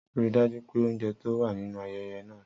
Rii daju pe ounjẹ to wa ninu ayẹyẹ naa!